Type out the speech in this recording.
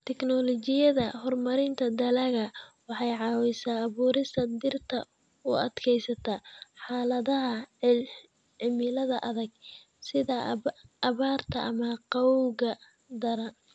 Tignoolajiyada horumarinta dalagga waxay caawisaa abuurista dhirta u adkaysata xaaladaha cimilada adag sida abaarta ama qabowga daran.